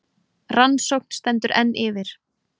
Rannsókn stendur enn yfir